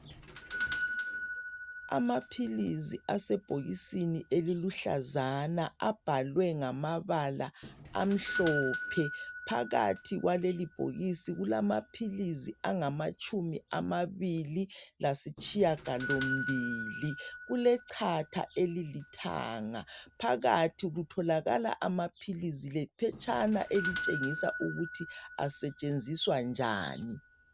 Amaphilizi asebhokisini eliluhlazana. Abhalwe ngamabala amhlophe. Phakathi kwalelibhokisi kulamaphilisi angamatshumi amabili, lasitshiyagalombili. Kulechatha elilithanga. Phakathi kutholakala amaphilisi. Lephetshana elitshengisa ukuthi asetshenziswa njani.